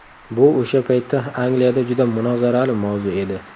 Bu o‘sha paytda Angliyada juda munozarali mavzu edi.